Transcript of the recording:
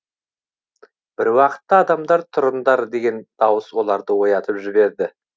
бір уақытта адамдар тұрыңдар деген дауыс оларды оятып жібереді